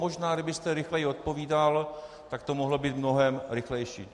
Možná kdybyste rychleji odpovídal, tak to mohlo být mnohem rychlejší.